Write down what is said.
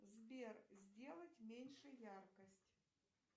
сбер сделать меньше яркость